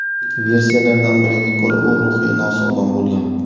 Versiyalardan biriga ko‘ra, u ruhiy nosog‘lom bo‘lgan.